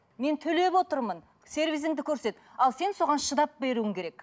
мен төлеп отырмын сервисіңді көрсет ал сен соған шыдап беруің керек